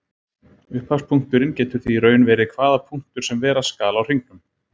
Upphafspunkturinn getur því í raun verið hvaða punktur sem vera skal á hringnum.